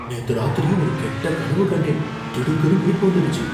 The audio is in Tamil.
நேத்து ராத்திரி ஒரு கெட்ட கனவு கண்டேன், திடுக்குன்னு முழிப்பு வந்துடுச்சு.